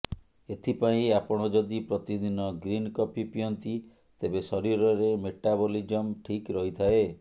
ଏଥିପାଇଁ ଆପଣ ଯଦି ପ୍ରତିଦିନ ଗ୍ରୀନ କଫି ପିଅନ୍ତି ତେବେ ଶରୀରରେ ମେଟାବଲିଜମ ଠିକ୍ ରହିଥାଏ